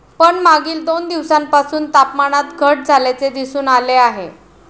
पण मागील दोन दिवसांपासून तापमानात घट झाल्याचे दिसून आले आहे.